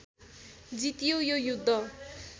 जितियो यो युद्ध